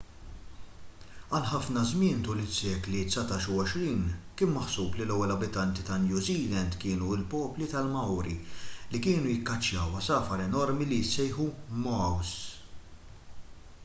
għal ħafna żmien tul is-sekli dsatax u għoxrin kien maħsub li l-ewwel abitanti ta' new zealand kienu l-poplu tal-maori li kienu jikkaċċjaw għasafar enormi li jissejħu moas